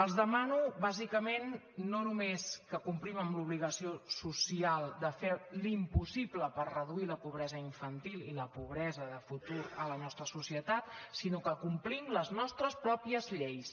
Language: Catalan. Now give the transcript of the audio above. els demano bàsicament no només que complim amb l’obligació social de fer l’impossible per reduir la pobresa infantil i la pobresa de futur a la nostra societat sinó que complim les nostres pròpies lleis